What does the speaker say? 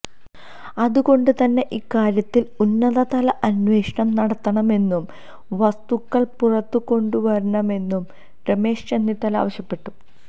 അത് കൊണ്ട് തന്നെ ഇക്കാര്യത്തില് ഉന്നത തല അന്വേഷണം നടത്തണമെന്നും വസ്തുതകള് പുറത്ത് കൊണ്ടുവരണമെന്നും രമേശ് ചെന്നിത്തല ആവശ്യപ്പെട്ടു